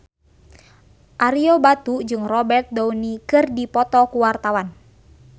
Ario Batu jeung Robert Downey keur dipoto ku wartawan